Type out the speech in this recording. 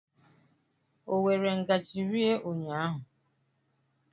O were ngaji rie ụnyaahụ?